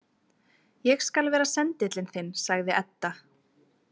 Ég skal vera sendillinn þinn, sagði Edda.